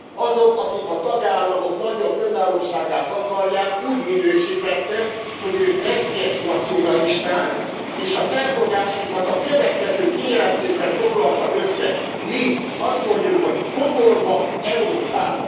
Azok, akik a tagállamok nagyobb önállóságát akarják, úgy minősítette, hogy ők veszélyes nacionalisták, és a felfogásunkat a következő kijelentésben foglalta össze mi azt mondjuk, hogy pokolba Európával.